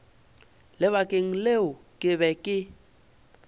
lebakeng leo ke be ke